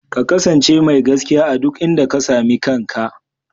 Ka kasance mai gaskiya a duk inda ka sami kanka.